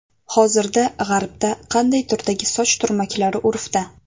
Hozir g‘arbda qanday turdagi soch turmaklari urfda?